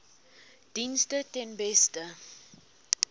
dienste ten beste